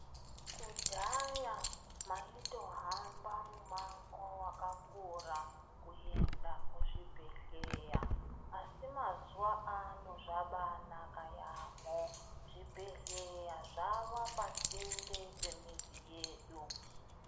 Kudhaya maitohamba mumango wakakura kuenda kuzvibhedhlera asi mazuva ano zviro zvakanaka yambo zvibhedhlera zvava pasinde pemizi yedu.